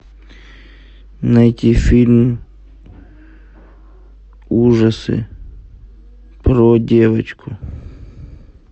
найти фильм ужасы про девочку